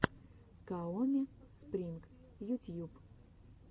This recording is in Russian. каоми спринг ютьюб